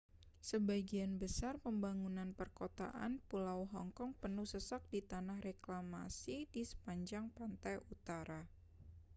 sebagian besar pembangunan perkotaan pulau hong kong penuh sesak di tanah reklamasi di sepanjang pantai utara